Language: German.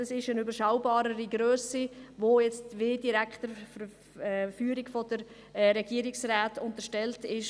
Es ist eine überschaubarere Grösse, die der direkten Führung der Regierung unterstellt ist.